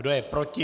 Kdo je proti?